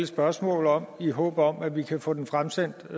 spørgsmål om i håb om at vi kan få den fremsendt